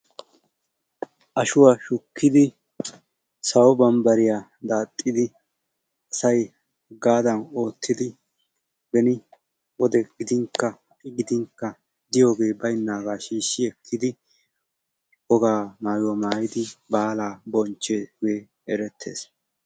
Ashuwaa shukkidi sowo bambbariyaa daaxxidi asay hagadan oottidi asay beni wode gidin ha'i wode gidin diyooge baynnaga shiishshi ekkidi baala maayuwa maayyidi asay baala bonchchiyooge eretees.